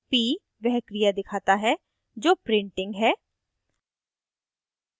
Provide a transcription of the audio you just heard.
p वह क्रिया दिखाता है जो printing p है